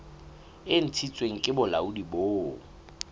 e ntshitsweng ke bolaodi bo